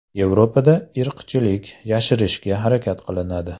Yevropada irqchilik yashirishga harakat qilinadi.